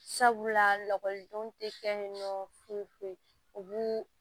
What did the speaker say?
Sabula lakɔlidenw tɛ kɛ yen nɔ foyi foyi u b'u